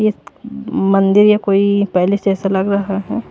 ये मंदिर या कोई पैलेस से ऐसा लग रहा है।